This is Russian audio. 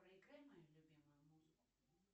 проиграй мою любимую музыку